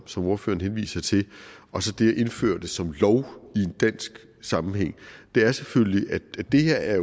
som ordføreren henviser til og så det at indføre dem som lov i en dansk sammenhæng er selvfølgelig at det her er